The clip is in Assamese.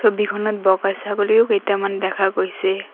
ছবিখনত বগা ছাগলীও কেইটামান দেখা গৈছে।